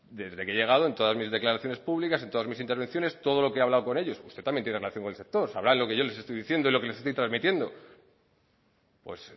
desde que he llegado en todas mis declaraciones públicas en todas mis intervenciones todo lo que he hablado con ellos usted también tiene relación con el sector sabrá lo que yo les estoy diciendo y lo que les estoy transmitiendo pues